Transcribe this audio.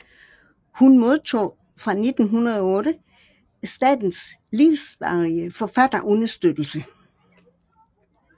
Hun modtog fra 1908 statens livsvarige forfatterunderstøttelse